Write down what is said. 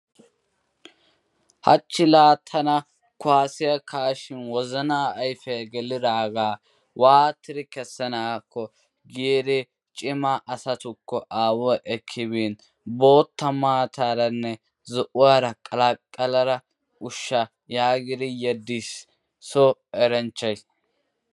Hachchi laa tana kuwasiya kaa'ishin wozanaa ayfe gelidaagaa waatidi kessanaakko giidi cima asatukko aaway ekki biin, bootta maataranne zo'uwara qalaqallada ushsha yaagidi yediis so eranchchay.